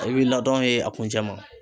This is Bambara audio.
I wilila ladɔrɔn a kuncɛ ma.